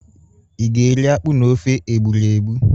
I ga-eri akpụ na ofe egburegbu?